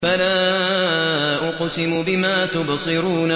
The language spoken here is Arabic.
فَلَا أُقْسِمُ بِمَا تُبْصِرُونَ